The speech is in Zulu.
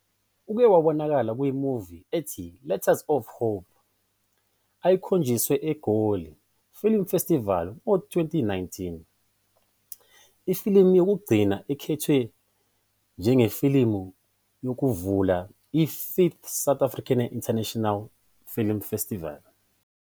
Uke wabonakala kwi-movie ethi "Letters of Hope" eyayikhonjiswa eGoli Film Festival ngo-2019. Ifilimu yokugcina ikhethwe njengefilimu yokuvula i-5th South African International Film Festival.